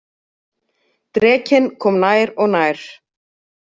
Drekinn kom nær og nær.